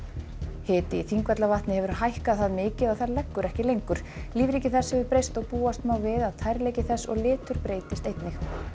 hiti í Þingvallavatni hefur hækkað það mikið að það leggur ekki lengur lífríki þess hefur breyst og búast má við að tærleiki þess og litur breytist einnig